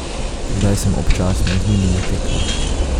Zdaj sem občasno z njimi na tekmah.